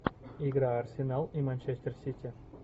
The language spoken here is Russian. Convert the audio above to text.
игра арсенал и манчестер сити